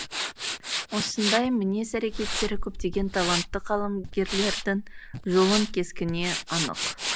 осындай мінез әрекеттері көптеген талантты қаламгерлердің жолын кескіне анық